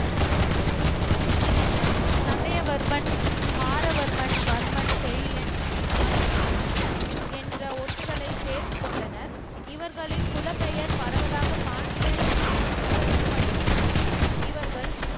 சண்டியவர்மன் மாறவர்மன் வர்மன் செழியன் மது குடுமி என்ற ஓட்டுகளை சேர்த்துக் கொண்டனர் இவர்களின் குல பெயர் பரவலாக பாண்டியர் என அறியப்படினும் இவர்கள்